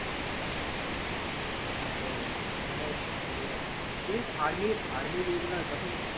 হ্যাঁ রে মানে আহ দেখিস army, army র এ গুলো যখন